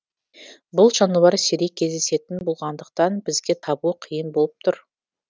бұл жануар сирек кездесетін болғандықтан бізге табу қиын болып тұр